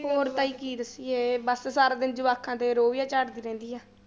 ਹੋਰ ਤਾਂ ਜੀ ਕੀ ਦੱਸੀਏ ਬਸ ਸਾਰਾ ਦਿਨ ਜਵਾਕਾਂ ਤੇ ਰੋਹਬ ਜਿਹਾ ਝਾੜਦੀ ਰਹਿੰਦੀ ਆ।